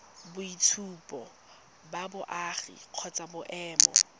boitshupo ba boagi kgotsa boemo